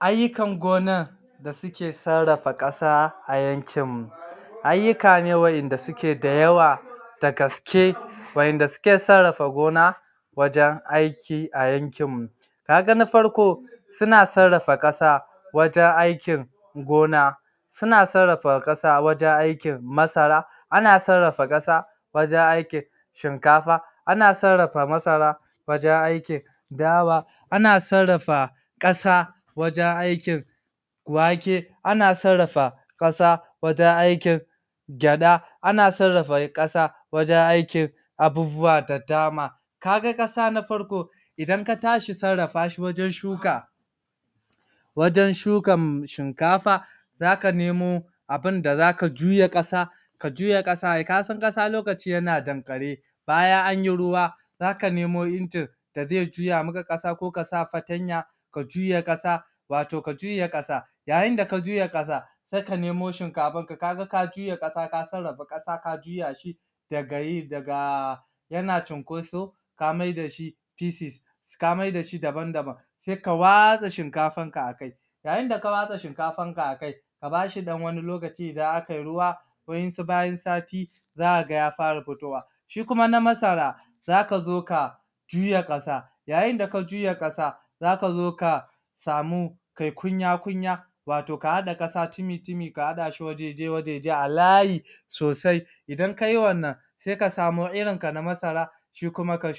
Ayyukan gona. da suke sarrafa ƙasa a yankinmu. Ayyuka ne waɗanda suke da yawa da gaske waɗanda suke sarrafa gona, wajen aiki a yankinmu. ka ga na farko, suna sarrafa ƙasa, wajen aikin gona. suna sarrafa ƙasa wajen aikin masara ana sarrafa ƙasa wajen aikin shinkafa, ana sarrafa masara wajen aikin dawa ana sarrafa ƙasa wajen aikin wake ana sarrafa ƙasa wajen aikin gyaɗa, ana sarrafa ƙasa wajen aikin abubuwa da dama. Ka ga ƙasa na farko, idan ka tashi sarrafa shi wajen shuka, wajen shukan shinkafa, za ka nemo abin da za ka juya ƙasa. ka juya ƙasa, ka san ƙasa lokacin yana danƙare. Bayan an yi ruwa, za ka nemo injin da zai juya maka ƙasa, ko ka sa fartanya. ka juya ƙasa, wato ka juya ƙasa. yayin da ka juya ƙasa, sai ka nemo shinkafarka. Kaga ka juya ƙasa ka sarrafa ƙasa ka juya shi daga yi, daga yana cinkoso ka maida shi pieces ka maida shi dabam-daban sai ka watsa shinkafanka a kai. yayin da ka watsa shinkafanka akai, ka ba shi ɗan wani lokaci idan a ka yi ruwa waɗansu bayan sati, za ka ga ya fara fitowa. shi kuma na masara, za ka zo ka juya ƙasa, yayin da ka juya ƙasa za ka zo ka samu kai kunya-kunyaa wato ka haɗa ƙasa tumi-tumi ka haɗa shi wajeje-wajeje a layi soasi idan ka yi wannan sai ka samo irinka na masara shi kuma ka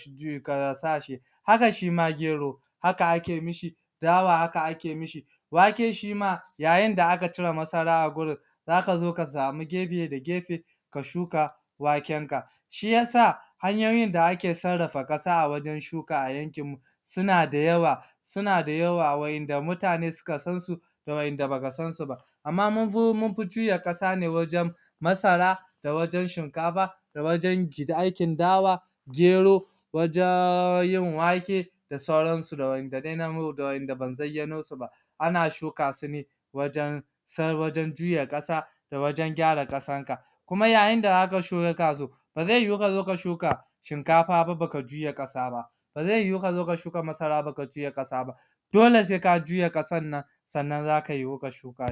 sa shi haka shi ma gero haka ake mishi dawa haka ake mishi wake shima yayin da aka cire masara a wurin za ka zo ka samu gefe da gefe ka shuka wakenka. shi ya sa, hanyoyin da ake sarrafa a wajen shuka a yankinmu suna da yawa, suna da yawa waɗanda mutane suka sansu da waɗanda ba ka sansu ba, Amma mun fi juya ƙasa ne wajen masara da wajen shinkafa da wajen aikin dawa gero wajen yin wake da sauransu da waɗanda ban zayyano su ba, ana shuka su ne wajen wajen juya ƙasa da wajen gyara ƙasanka. kuma yayin da aka shuka su, ba zai yiwu ka zo ka shuka shinkafa ba, ba ka juya ƙasa ba. ba zai yiwu ka shuka masara ba ka juya ƙasa ba dole sai ka juya ƙasar nan sannan za ka yiwu ka shuka.